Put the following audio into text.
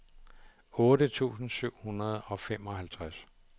otte tusind syv hundrede og femoghalvtreds